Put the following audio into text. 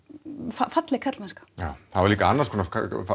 falleg karlmennska já það var líka annars konar